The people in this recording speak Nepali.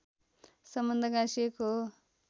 सम्बन्ध गाँसिएको हो